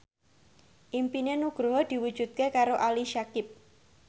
impine Nugroho diwujudke karo Ali Syakieb